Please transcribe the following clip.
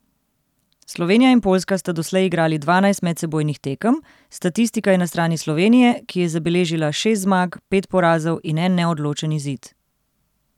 Slovenija in Poljska sta doslej igrali dvanajst medsebojnih tekem, statistika je na strani Slovenije, ki je zabeležila šest zmag, pet porazov in en neodločen izid.